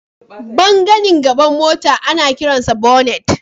Ɓangaren gaban mota ana kiransa bonnet.